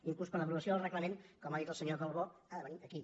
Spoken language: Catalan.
inclús per aprovació del reglament com ha dit el senyor calbó ha de venir aquí